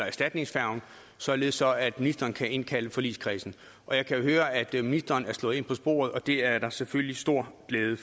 erstatningsfærgen således at ministeren kan indkalde forligskredsen jeg kan høre at ministeren er slået ind på sporet og det er der selvfølgelig stor glæde